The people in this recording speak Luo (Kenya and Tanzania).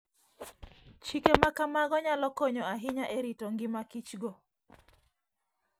Chike ma kamago nyalo konyo ahinya e rito ngima Kichgo.